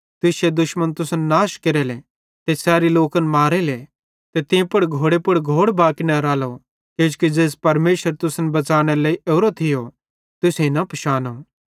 तुश्शे दुश्मन तुसन नाश केरेले ते सैरी लोकन मारेले ते तीं पुड़ घोड़े पुड़ घोड़ बाकी न रालो किजोकि ज़ेइस परमेशर तुसन बच़ानेरे लेइ ओरो थियो तुसेईं न पिशानो